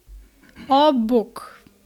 O, bog!